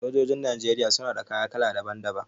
Sojojin Najeriya suna da kaya kala daban daban.